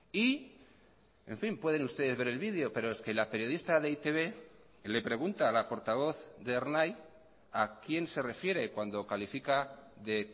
y en fin pueden ustedes ver el video pero es que la periodista de e i te be le pregunta a la portavoz de ernai a quien se refiere cuando califica de